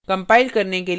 compile करने के लिए टाइप करें